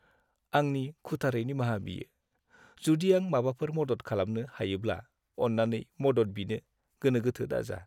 आंनि खुथारै निमाहा बियो! जुदि आं माबाफोर मदद खालामनो हायोब्ला, अन्नानै मदद बिनो गोनोगोथो दाजा।